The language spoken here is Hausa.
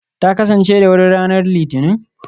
Ta kasance da wuri ranar Litinin?